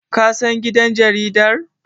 kasan gidan jaridar?